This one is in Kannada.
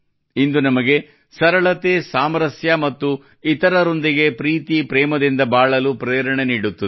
ಇಂದು ನಮಗೆ ಸರಳತೆ ಸಾಮರಸ್ಯ ಮತ್ತು ಇತರರೊಂದಿಗೆ ಪ್ರೀತಿ ಪ್ರೇಮದಿಂದ ಬಾಳಲು ಪ್ರೇರಣೆ ನೀಡುತ್ತದೆ